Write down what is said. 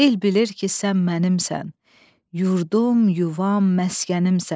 El bilir ki, sən mənimsən, yurdum, yuvam, məskənimsən.